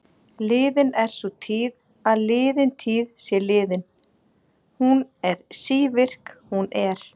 Liðin er sú tíð að liðin tíð sé liðin, hún er sívirk, hún er.